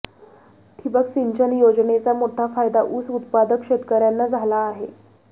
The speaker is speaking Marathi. ठिबक सिंचन योजनेचा मोठा फायदा ऊस उत्पादक शेतकर्यांना झाला आहे